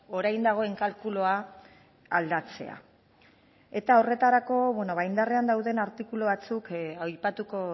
orain dagoen kalkulua aldatzea eta horretarako indarrean dauden artikulu batzuk aipatuko